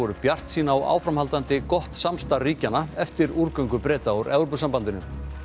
bjartsýn á áframhaldandi gott samstarf ríkjanna eftir Breta úr Evrópusambandinu